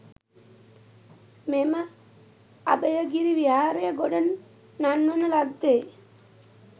මෙම අභයගිරි විහාරය ගොඩ නංවන ලද්දේ